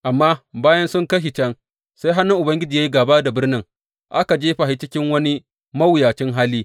Amma bayan sun kai shi can, sai hannun Ubangiji ya yi gāba da birnin, aka jefa shi cikin wani mawuyacin hali.